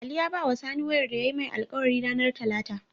Ali ya bawa sani wayar da yayi mai alkawari ranar talata